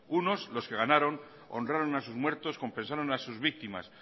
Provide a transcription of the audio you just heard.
unos los que ganaron honraron a sus muertos compensaron a sus víctimas